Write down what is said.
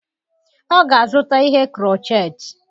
Ọ ga-azụta ihe Crotchet.